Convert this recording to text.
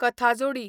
कथाजोडी